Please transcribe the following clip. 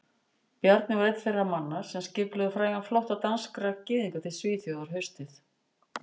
Bjarni var einn þeirra manna sem skipulögðu frægan flótta danskra gyðinga til Svíþjóðar haustið